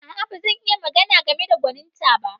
A'a, ba zan iya magana game da gwaninta ba.